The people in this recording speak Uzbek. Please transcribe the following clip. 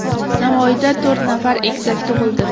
Navoiyda to‘rt nafar egizak tug‘ildi.